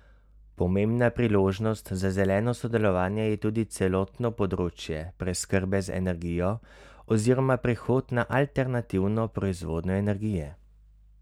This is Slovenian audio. Pomembna priložnost za zeleno sodelovanje je tudi celotno področje preskrbe z energijo oziroma prehod na alternativno proizvodnjo energije.